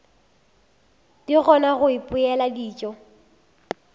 di kgona go ipopela dijo